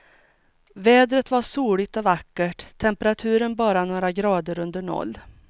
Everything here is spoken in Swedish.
Vädret var soligt och vackert, temperaturen bara några grader under noll.